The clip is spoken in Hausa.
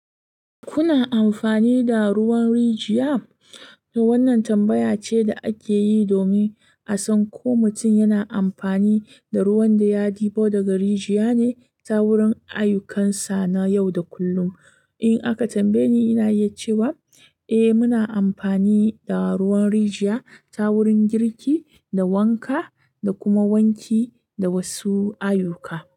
Kuna amfani da ruwan rijiya? Wannan tambaya ce da ake yi domin a san ko mutum yana amfani da ruwan da ya ɗibo daga rijiya ne ta wurin ayyukansa na yau da kullum. In aka tambaye ni, ina iya cewa eh, muna amfani da ruwan rijiya ta wurin girki da wanka da kuma wanki da wasu ayyuka.